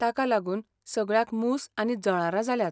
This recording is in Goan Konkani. ताका लागून सगळ्याक मूस आनी जळारां जाल्यांत.